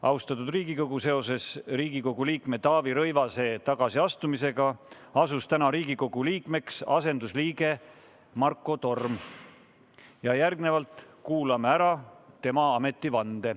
Austatud Riigikogu, seoses Riigikogu liikme Taavi Rõivase tagasiastumisega asus täna Riigikogu liikmeks asendusliige Marko Torm ja järgmisena kuulame ära tema ametivande.